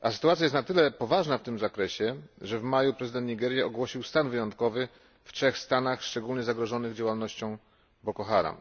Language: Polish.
a sytuacja jest na tyle poważna w tym zakresie, że w maju prezydent Nigerii ogłosił stan wyjątkowy w 3 stanach szczególnie zagrożonych działalnością Boko Haram.